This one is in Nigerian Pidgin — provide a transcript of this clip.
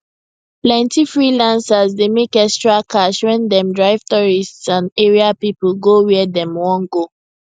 plenty freelancers dey make extra cash when dem drive tourists and area people go where dem wan go